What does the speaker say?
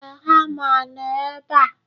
Ee, hama nọ ebe a